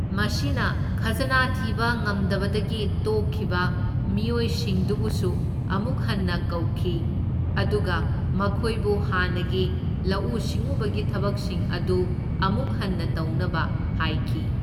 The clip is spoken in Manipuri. ꯃꯁꯤꯅ ꯈꯖꯅꯥ ꯊꯤꯕ ꯉꯝꯗꯕꯗꯒꯤ ꯇꯣꯛꯈꯤꯕ ꯃꯤꯑꯣꯏ ꯁꯤꯡꯗꯨꯕꯨꯁꯨ ꯑꯃꯨꯛ ꯍꯟꯅ ꯀꯧꯈꯤ, ꯑꯗꯨꯒ ꯃꯈꯣꯏꯕꯨ ꯍꯥꯟꯅꯒꯤ ꯂꯧꯎ ꯁꯤꯡꯎꯕꯒꯤ ꯊꯕꯛꯁꯤꯡ ꯑꯗꯨ ꯑꯃꯨꯛ ꯍꯟꯅ ꯇꯧꯅꯕ ꯍꯥꯏꯈꯤ꯫